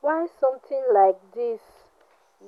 why something like dis